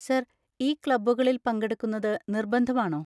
Sir, ഈ ക്ലബ്ബുകളിൽ പങ്കെടുക്കുന്നത് നിർബന്ധമാണോ?